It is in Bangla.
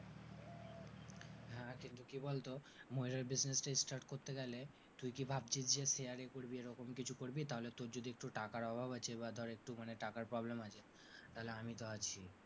হ্যাঁ কিন্তু কি বলতো ময়ূরের business start করতে গেলে তুই কি ভাবছিস যে share এ করবি এরমকম কিছু করবি, তাহলে তোর যদি একটু টাকার অভাব আছে বা ধর একটু মানে টাকার problem আছে তাহলে আমি তো আছিই।